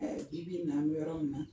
Bi bi na an bɛ yɔrɔ min na